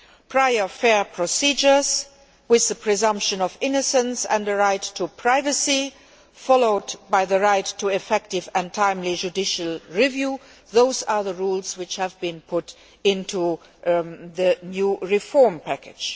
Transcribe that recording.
Prior, fair procedures, with the presumption of innocence and the right to privacy, followed by the right to effective and timely judicial review those are the rules which have been put into the new reform package.